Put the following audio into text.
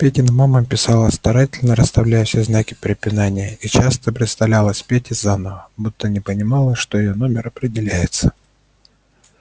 петина мама писала старательно расставляла все знаки препинания и часто представлялась пете заново будто не понимала что её номер определяется